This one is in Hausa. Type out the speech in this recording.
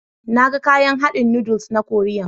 Na gan kayan hadin noodles na koriyan.